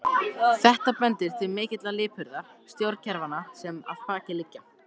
Þetta bendir til mikillar lipurðar stjórnkerfanna sem að baki liggja.